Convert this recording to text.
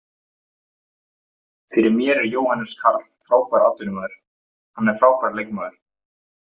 Fyrir mér er Jóhannes Karl frábær atvinnumaður, hann er frábær leikmaður.